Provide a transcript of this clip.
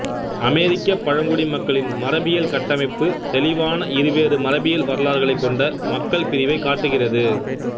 அமெரிக்கப் பழங்குடி மக்களின் மரபியல் கட்டமைப்பு தெளிவான இருவேறு மரபியல் வரலாறுகளைக் கொண்ட மக்கள் பிரிவைக் காட்டுகிறது